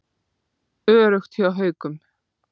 Öruggt hjá Haukum